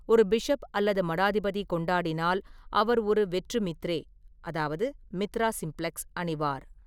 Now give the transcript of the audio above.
ஒரு பிஷப் அல்லது மடாதிபதி கொண்டாடினால், அவர் ஒரு வெற்று மித்ரே அதாவது மித்ரா சிம்ப்ளக்ஸ் அணிவார்.